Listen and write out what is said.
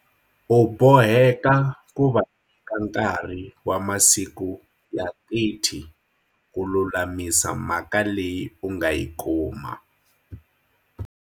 U boheka ku va nyika nkarhi wa masiku ya 30 ku lulamisa mhaka leyi u nga yi kuma.